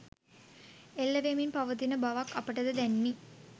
එල්ල වෙමින් පවතින බවක් අපටද දැනිණි